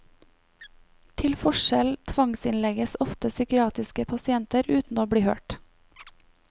Til forskjell tvangsinnlegges ofte psykiatriske pasienter uten å bli hørt.